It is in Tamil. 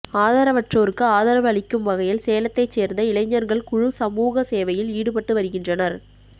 ஆதரவற்றோருக்கு ஆதரவு அளிக்கும் வகையில் சேலத்தைச் சேர்ந்த இளைஞர்கள் குழு சமூக சேவையில் ஈடுபட்டு வருகின்றனர்